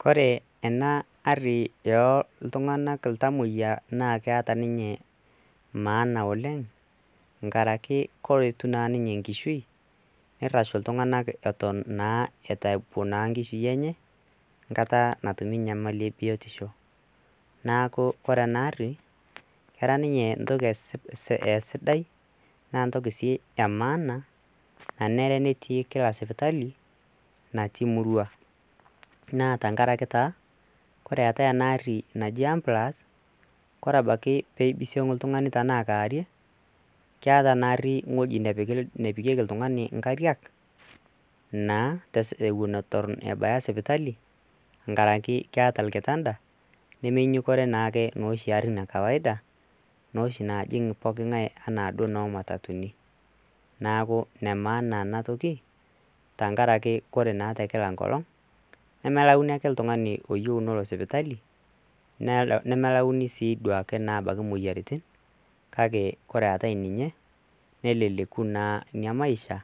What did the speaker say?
kore ena arri yoltung'anak iltamoyia naa keeta ninye maana oleng nkaraki koretu naa ninye nkishui neirrashu iltung'anak eton naa etaipo naa nkishui enye nkata natumi nyamali ebiotisho naaku kore ena arri kera ninye ntoki esidai naa ntoki sii e maana nanere netii kila sipitali natii murua naa tankaraki taa kore eetae ena arri naji ambilas ore ebaiki peibisiong iltung'ani tenaa kaarie keata ana arri ng'oji nepiki, nepikieki iltung'ani nkariak naa ewuon eton ebaya sipitali nkaraki keeta ilkitanda nemenyukore naake noshi arrin e kawaida noshi najing poki ng'ae anaa duo noo matatuni naaku ine maana enatoki tankaraki ore naa te kila nkolong nemelauni ake iltung'ani oyieu nolo sipitali nemelauni sii duake abaki moyiaritin kake ore eetae ninye neleleku naa inia maisha